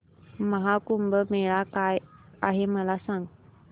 महा कुंभ मेळा काय आहे मला सांग